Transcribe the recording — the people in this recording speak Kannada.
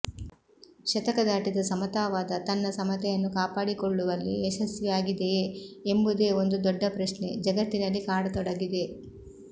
ಶತಕ ದಾಟಿದ ಸಮತಾವಾದ ತನ್ನ ಸಮತೆಯನ್ನು ಕಾಪಾಡಿಕೊಳ್ಳವಲ್ಲಿ ಯಶಸ್ವಿಿಯಾಗಿದೆಯೇ ಎಂಬುದೇ ಒಂದು ದೊಡ್ಡ ಪ್ರಶ್ನೆೆ ಜಗತ್ತಿಿನಲ್ಲಿ ಕಾಡತೊಡಗಿದೆ